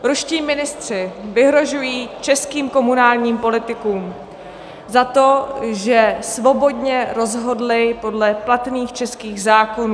Ruští ministři vyhrožují českým komunálním politikům za to, že svobodně rozhodli podle platných českých zákonů.